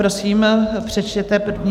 Prosím, přečtěte první...